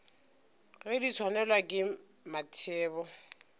ge di swanelwa ke mathebo